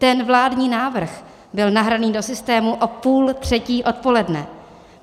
Ten vládní návrh byl nahraný do systému o půl třetí odpoledne.